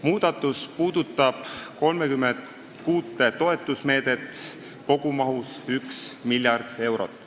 Muudatus puudutab 36 toetusmeedet kogumahuga 1 miljard eurot.